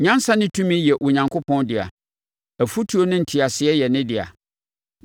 “Nyansa ne tumi yɛ Onyankopɔn dea; afotuo ne nteaseɛ yɛ ne dea.